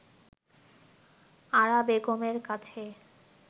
আরা বেগম এর কাছে